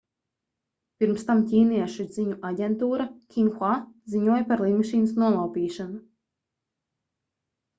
pirms tam ķīniešu ziņu aģentūra xinhua ziņoja par lidmašīnas nolaupīšanu